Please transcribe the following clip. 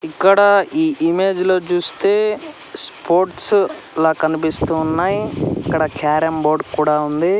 ఇక్కడ ఈ ఇమేజ్ లో చూస్తే స్పోర్ట్స్ లా కనిపిస్తూ ఉన్నాయి ఇక్కడ క్యారామ్ బోర్డు కూడా ఉంది.